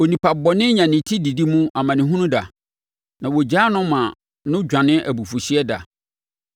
onipa bɔne nya ne ti didi mu amanehunu da, na wɔgyaa no ma no dwane abufuhyeɛ da.